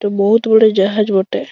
ইটা বহুত বড়ো জাহাজ বটে।